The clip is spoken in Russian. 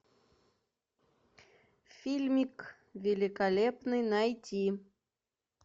фильмик великолепный найти